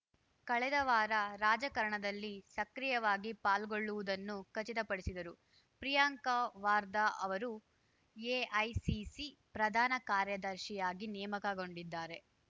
ಕಳೆದವಾರ ರಾಜಕಾರಣದಲ್ಲಿ ಸಕ್ರಿಯವಾಗಿ ಪಾಲ್ಗೊಳ್ಳುವುದನ್ನು ಖಚಿತ ಪಡಿಸಿದರು ಪ್ರಿಯಾಂಕಾ ವಾರ್ದಾ ಅವರು ಎಐಸಿಸಿ ಪ್ರಧಾನ ಕಾರ್ಯದರ್ಶಿಯಾಗಿ ನೇಮಕಗೊಂಡಿದ್ದಾರೆ